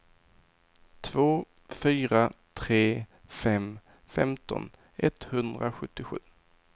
två fyra tre fem femton etthundrasjuttiosju